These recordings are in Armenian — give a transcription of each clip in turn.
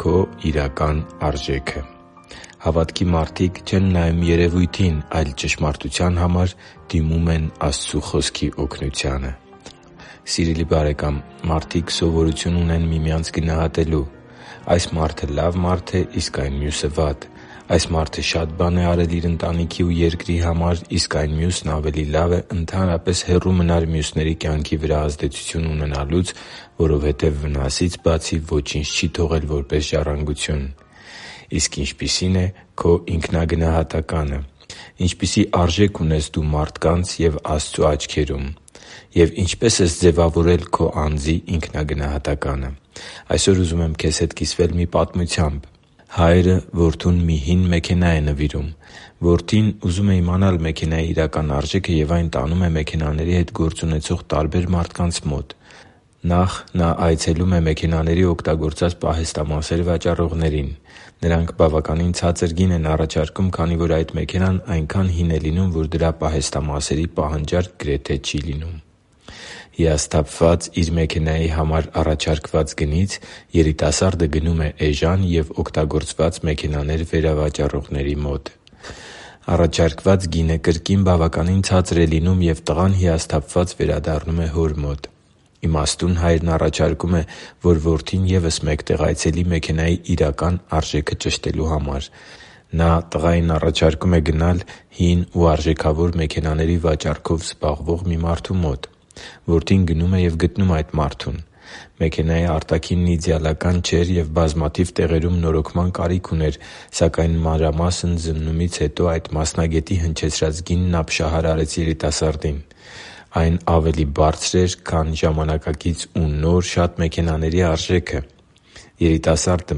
Քո իրական արժեքը․․․ Հավատքի մարդիկ չեն նայում երևույթին, այլ, ճշմարտության համար, դիմում են Աստծու Խոսքի օգնությանը։ Սիրելի՛ բարեկամ, մարդիկ սովորություն ունեն միմյանց գնահատելու։ Այս մարդը լավ մարդ է, իսկ այն մյուսը՝ վատ։ Այս մարդը շատ բան է արել իր ընտանիքի ու երկրի համար, իսկ այն մյուսն ավելի լավ է` ընդհանրապես հեռու մնա մյուսների կյանքի վրա ազդեցություն ունենալուց, որովհետև, վնասից բացի, ոչինչ չի թողել որպես ժառանգություն։ Իսկ ինչպիսի՞ն է քո ինքնագնահատականը։ Ինչպիսի՞ արժեք ունես դու մարդկանց և Աստծու աչքերում։ Եվ ինչպե՞ս ես ձևավորել քո անձի ինքնագնահատականը։ Այսօր ուզում եմ քեզ հետ կիսվել մի պատմությամբ։ Հայրը որդուն մի հին մեքենա է նվիրում։ Որդին ուզում է իմանալ մեքենայի իրական արժեքը և այն տանում է մեքենաների հետ գործ ունեցող տարբեր մարդկանց մոտ։ Նախ, նա այցելում է մեքենաների օգտագործած պահեստամասեր վաճառողներին։ Նրանք բավականին ցածր գին են առաջարկում, քանի որ այդ մեքենան այնքան հին է լինում, որ դրա պահեստամասերի պահանջարկ գրեթե չի լինում։ Հիասթափված իր մեքենայի համար առաջարկված գնից՝ երիտասարդը գնում է էժան և օգտագործված մեքենաներ վերավաճառողների մոտ։ Առաջարկված գինը կրկին բավականին ցածր է լինում, և տղան հիասթափված վերադառնում է հոր մոտ։ Իմաստուն հայրն առաջարկում է, որ որդին ևս մեկ տեղ այցելի մեքենայի իրական արժեքը ճշտելու համար։ Նա տղային առաջարկում է գնալ հին ու արժեքավոր մեքենաների վաճառքով զբաղվող մի մարդու մոտ։ Որդին գնում և գտնում է այդ մարդուն։ Մեքենայի արտաքինն իդեալական չէր և բազմաթիվ տեղերում նորոգման կարիք ուներ, սակայն, մանրամասն զննումից հետո, այդ մասնագետի հնչեցրած գինն ապշահար արեց երիտասարդին։ Այն ավելի բարձր էր, քան ժամանակակից ու նոր շատ մեքենաների արժեքը։ Երիտասարդը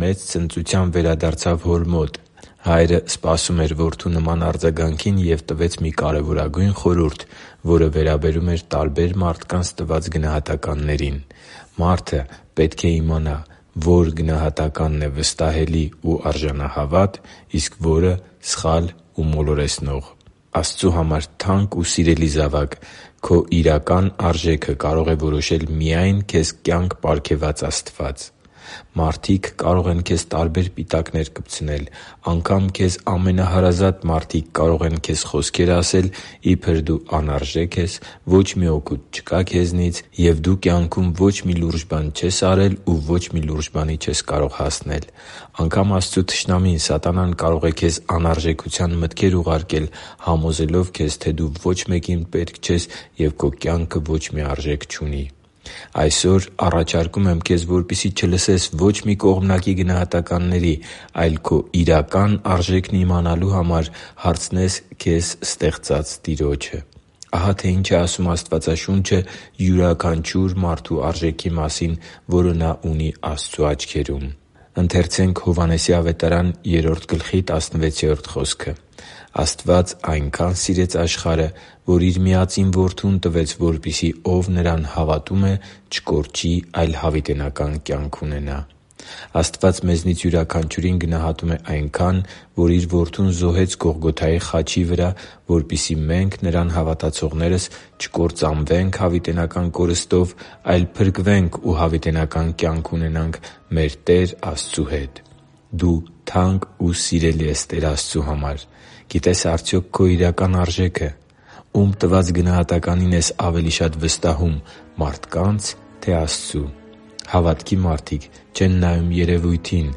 մեծ ցնծությամբ վերադարձավ հոր մոտ։ Հայրը սպասում էր որդու նման արձագանքին և տվեց մի կարևորագույն խորհուրդ, որը վերաբերում էր տարբեր մարդկանց տված գնահատականներին։ Մարդը պետք է իմանա՝ ո՞ր գնահատականն է վստահելի ու արժանահավատ, իսկ ո՞րը՝ սխալ ու մոլորեցնող։ Աստծու համար թանկ ու սիրելի՛ զավակ, քո իրական արժեքը կարող է որոշել միայն քեզ կյանք պարգևած Աստված։ Մարդիկ կարող են քեզ տարբեր պիտակներ կպցնել։ Անգամ քեզ ամենահարազատ մարդիկ կարող են քեզ խոսքեր ասել, իբր դու անարժեք ես, ոչ մի օգուտ չկա քեզնից, և դու քո կյանքում ոչ մի լուրջ բան չես արել ու ոչ մի լուրջ բանի էլ չես կարող հասնել։ Անգամ Աստծու թշնամին՝ սատանան, կարող է քեզ անարժեքության մտքեր ուղարկել՝ համոզելով քեզ, թե դու ոչ մեկին պետք չես, ու քո կյանքը ոչ մի արժեք չունի։ Այսօր առաջարկում եմ քեզ, որպեսզի չլսես ոչ մի կողմնակի գնահատականների, այլ քո իրական արժեքն իմանալու համար հարցնես քեզ ստեղծած Տիրոջը։ Ահա թե ինչ է ասում Աստվածաշունչը յուրաքանչյուր մարդու արժեքի մասին, որը նա ունի Աստծու աչքերում։ «Աստված այնքան սիրեց աշխարհը, որ Իր միածին Որդուն տվեց, որպեսզի ով Նրան հավատում է, չկորչի, այլ հավիտենական կյանք ունենա» (Հովհաննես 3․16)։ Աստված մեզնից յուրաքանչյուրին գնահատում է այնքան, որ Իր Որդուն զոհեց Գողգոթայի խաչի վրա, որպեսզի մենք՝ Նրան հավատացողներս, չկործանվենք հավիտենական կորստով, այլ փրկվենք ու հավիտենական կյանք ունենանք մեր Տեր Աստծու հետ։ Դու թանկ ես ու սիրելի Տեր Աստծու համար։ Գիտե՞ս արդյոք քո իրական արժեքը։ Ո՞ւմ տված գնահատականին ես ավելի շատ վստահում՝ մարդկա՞նց, թե՞ Աստծու։ Հավատքի մարդիկ չեն նայում երևույթին,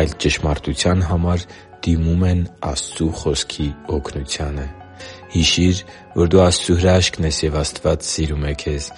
այլ ճշմարտության համար դիմում են Աստծու Խոսքի օգնությանը։ Հիշի՛ր, որ դու Աստծո հրաշքն ես, և Աստված սիրում է քեզ։